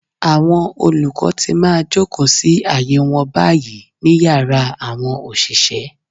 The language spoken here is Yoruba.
Àwọn olùkọ́ ti máa jòkó sí àyè wọn báyìí. ní Yàrá àwọn òṣìṣẹ́.